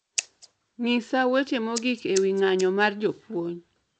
Ng'isa weche mogik ewi ng'anyo mar jopuony